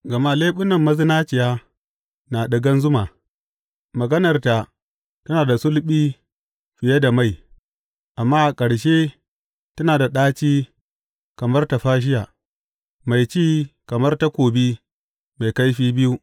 Gama leɓunan mazinaciya na ɗigan zuma, maganarta tana da sulɓi fiye da mai; amma a ƙarshe tana da ɗaci kamar tafashiya, mai ci kamar takobi mai kaifi biyu.